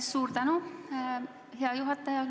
Suur tänu, hea juhataja!